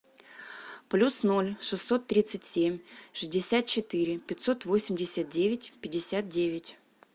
плюс ноль шестьсот тридцать семь шестьдесят четыре пятьсот восемьдесят девять пятьдесят девять